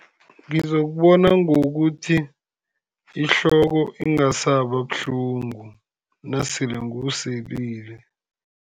Ngizokubona ngokuthi ihloko ingasaba buhlungu nasele ngiwuselile.